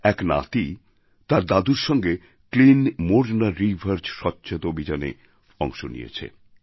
এক নাতি তার দাদুর সঙ্গে ক্লিন মোরনা রিভার স্বচ্ছতা অভিযানে অংশ নিয়েছে